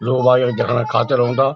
लोग आयोग द्याखणक खातिर ओंदा।